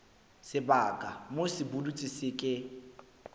sebaka moo sepudutsi se ke